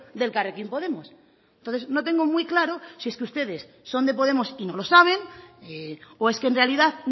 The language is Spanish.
de elkarrekin podemos entonces no tengo muy claro si es que ustedes son de podemos y no lo saben o es que en realidad